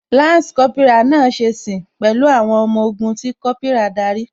Lansi Kópírà náà ṣe sìn pẹ̀lú àwọn ọmọ ogun tí Kópírà darí